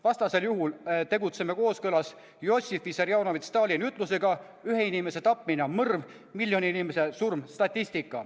Vastasel juhul tegutseme kooskõlas Jossif Vissarionovitš Stalini ütlusega: ühe inimese tapmine on mõrv, miljoni inimese surm statistika.